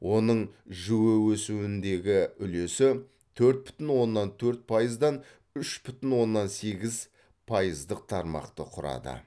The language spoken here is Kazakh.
оның жіө өсуіндегі үлесі төрт бүтін оннан төрт пайыздан үш бүтін оннан сегіз пайыздық тармақты құрады